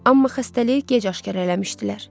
Amma xəstəliyi gec aşkar eləmişdilər.